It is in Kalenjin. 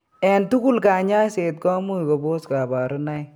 En tugul kanyaiset komuch kobos kabarunoik